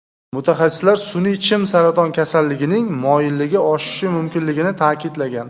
Mutaxassislar sun’iy chim saraton kasalligining moyilligi oshishi mumkinligini ta’kidlagan.